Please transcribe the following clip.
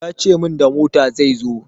Ya ce min da mota zai zo.